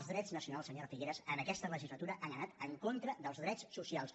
els drets nacionals senyora figueras en aquesta legislatura han anat en contra dels drets socials